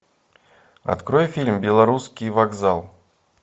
открой фильм белорусский вокзал